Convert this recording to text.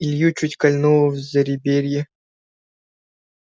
илью чуть кольнуло в зареберье